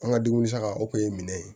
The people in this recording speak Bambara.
An ka dumuni san ka o kun ye minɛ ye